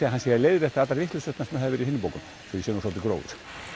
að hann sé að leiðrétta allar vitleysurnar sem hafa verið í hinum bókunum svo ég sé nú svolítið grófur